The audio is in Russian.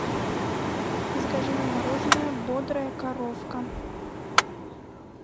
закажи мне мороженое бодрая коровка